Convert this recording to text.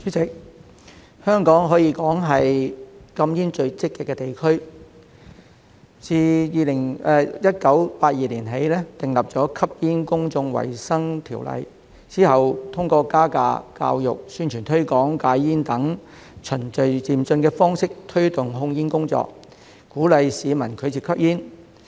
主席，香港可說是禁煙最積極的地區，自1982年起訂立《吸煙條例》，之後通過加價、教育、宣傳推廣戒煙等循序漸進的方式推動控煙工作，鼓勵市民拒絕吸煙。